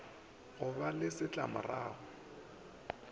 go ka ba le setlamorago